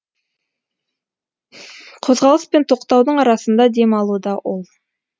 қозғалыс пен тоқтаудың арасында дем алуда ол